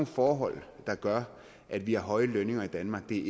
forhold der gør at vi har høje lønninger i danmark det